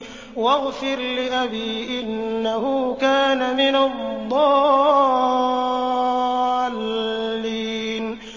وَاغْفِرْ لِأَبِي إِنَّهُ كَانَ مِنَ الضَّالِّينَ